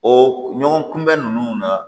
O ɲɔgɔn kunbɛn ninnu na